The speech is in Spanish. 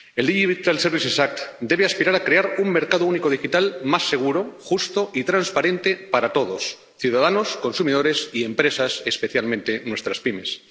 La Ley de servicios digitales debe aspirar a crear un mercado único digital más seguro, justo y transparente para todos ciudadanos, consumidores y empresas, especialmente nuestras pymes.